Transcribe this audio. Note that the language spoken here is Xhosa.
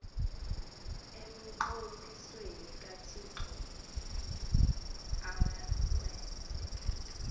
emnqophisweni kathixo awenze